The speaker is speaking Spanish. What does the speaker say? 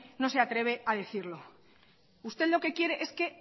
no se atreve a decirlo usted lo que quiere es que